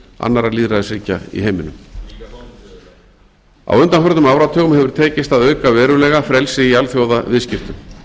annarra lýðræðisríkja í heiminum tími hér ellefu núll eitt núll núll á undanförnum áratugum hefur tekist að auka verulega frelsi í alþjóðaviðskiptum